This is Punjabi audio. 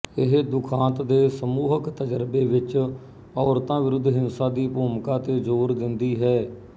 ਇਹ ਦੁਖਾਂਤ ਦੇ ਸਮੂਹਕ ਤਜ਼ਰਬੇ ਵਿੱਚ ਔਰਤਾਂ ਵਿਰੁੱਧ ਹਿੰਸਾ ਦੀ ਭੂਮਿਕਾ ਤੇ ਜ਼ੋਰ ਦਿੰਦੀ ਹੈ